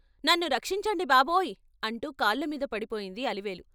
"నన్ను రక్షించండి బాబోయ్ " అంటూ కాళ్ళమీద పడిపోయింది అలివేలు.